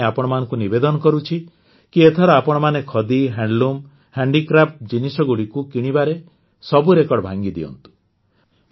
ଏଥିପାଇଁ ଆପଣମାନଙ୍କୁ ନିବେଦନ କରୁଛି କି ଏଥର ଆପଣମାନେ ଖଦି ହ୍ୟାଣ୍ଡଲୁମ୍ ହ୍ୟାଣ୍ଡିକ୍ରାଫ୍ଟ ଜିନିଷଗୁଡ଼ିକୁ କିଣିବାରେ ସବୁ ରେକର୍ଡ ଭାଙ୍ଗିଦିଅନ୍ତୁ